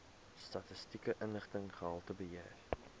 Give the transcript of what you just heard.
statistiese inligting gehaltebeheer